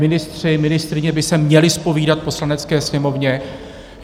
Ministři, ministryně by se měli zpovídat Poslanecké sněmovně.